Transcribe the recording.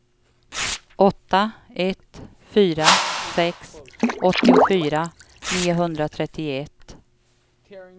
åtta ett fyra sex åttiofyra niohundratrettioett